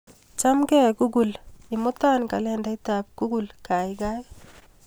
Chamgee google, imuta kalendaitap google kaikai.